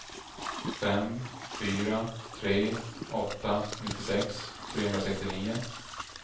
fem fyra tre åtta nittiosex trehundrasextionio